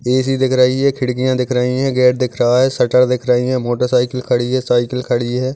AC दिख राही है खिड़कियाँ दिख रही है गेट दिख रहा है शटर दिख रही है मोटरसाइकिल खड़ी है साइकिल खड़ी है।